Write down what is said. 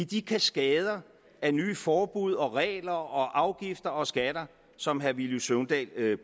de kaskader af nye forbud og regler og afgifter og skatter som herre villy søvndal